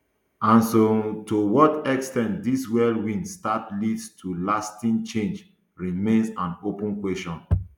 and so um to what ex ten t this whirlwind start leads to lasting change remains an open question